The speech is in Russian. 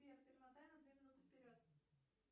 сбер перемотай на две минуты вперед